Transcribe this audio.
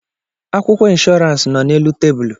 Akwụkwọ inshọransi nọ n'elu tebụlụ.